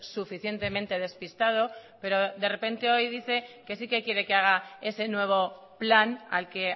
suficientemente despistado pero de repente hoy diceque sí que quiere que haga ese nuevo plan al que